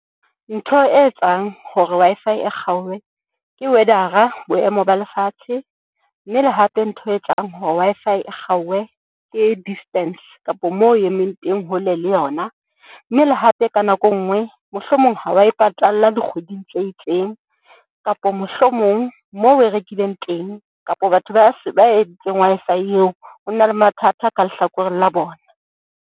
Ntho e etsang hore Wi-Fi e kgauwe ke weather-a, boemo ba lefatshe, mme le hape ntho e etsang hore Wi-Fi e kgauwe ke distance kapa moo o emeng teng, hole le yona, mme le hape ka nako e nngwe, mohlomong ha wa e patalla dikgweding tse itseng kapa mohlomong moo o e rekileng teng kapa batho ba se ba entseng Wi-Fi, eo ho na le mathata ka lehlakoreng la bona.